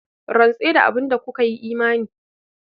Rantse da abin da kuka yi imani.